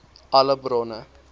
alle bronne